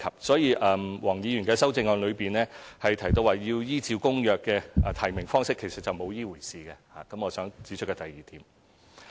所以，黃議員的修正案中提到要採用符合《公約》規定的提名方式，其實並沒有這回事，這是我想指出的第二點。